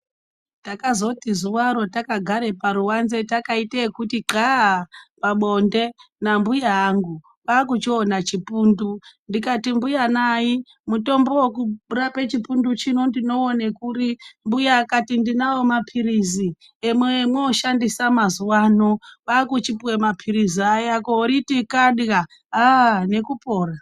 Takazoti zuwaro takagara paruwanze takaite ekuti qxaaa pabonde nambuya angu kwakuchiona chipundu ndikati mbuya nai mutombo wekurapa chipundu chino ndinouone kuri mbuya akati ndinawo maphirizi amwoshandisa mazuwaano kwakuchipuwe maphirizi aya koriti xada nekupora.